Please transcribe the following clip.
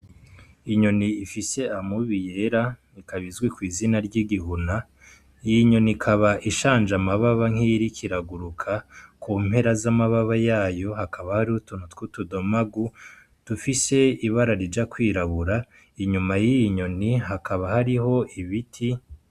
Inyoni ifise amubi yera, ikaba izwi k'izina ry'igihuna. Ikaba ishanje amababa nk'iyiriko iraguruka. Ku mpera z'amababa yayo hakaba hariho utuntu tw'utudomagu dufise ibara rija kwirabura. Inyuma y'iyi nyoni hakaba hariho ibiti.